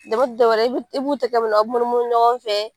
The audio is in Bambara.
Dɛmɛ ti dɔwɛrɛ ye , i b'u tɛgɛ minɛ abe munu munu ɲɔgɔn fɛ